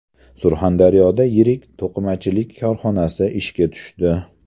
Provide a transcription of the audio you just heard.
Surxondaryoda yirik to‘qimachilik korxonasi ishga tushdi.